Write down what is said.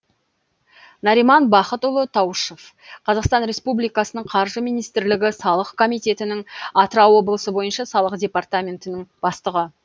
нариман бахытұлы таушов қазақстан республикасының қаржы министрлігі салық комитетінің атырау облысы бойынша салық департаментінің бастығы